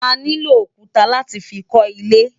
Aniló ókútá láti fi kò ilé